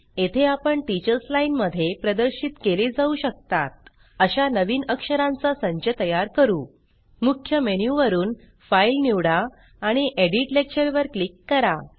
येथे आपण teachers line मध्ये प्रदर्शित केले जाऊ शकतात अशा नवीन अक्षरांचा संच तयार करू मुख्य मेनु वरुन फाइल निवडा आणि एडिट लेक्चर वर क्लिक करा